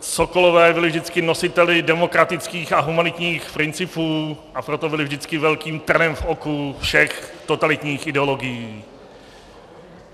Sokolové byli vždycky nositeli demokratických a humanitních principů, a proto byli vždycky velkým trnem v oku všech totalitních ideologií.